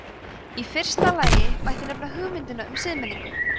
í fyrsta lagi mætti nefna hugmyndina um siðmenningu